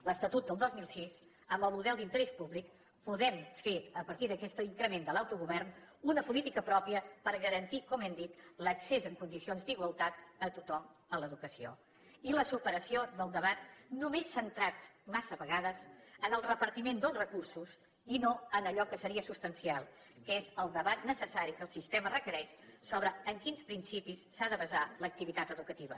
l’estatut del dos mil sis amb el model d’interès públic podem fer a partir d’aquest increment de l’autogovern una política pròpia per garantir com hem dit l’accés en condicions d’igualtat a tothom a l’educació i la superació del debat només centrat massa vegades en el repartiment dels recursos i no en allò que seria substancial que és el debat necessari que el sistema requereix sobre en quins principis s’ha de basar l’activitat educativa